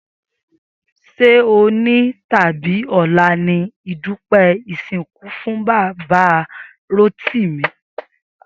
Sé òní tàbí ò̩la ni ìdúpé̩ ìsìnkú fún Bàbá Rótìmí?